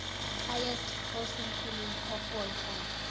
highest grossing film of all time